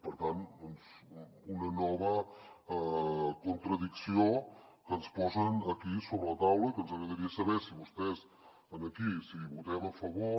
per tant una nova contradicció que ens posen aquí sobre la taula i que ens agradaria saber si vostès aquí si hi votem a favor